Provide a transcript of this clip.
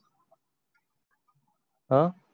आह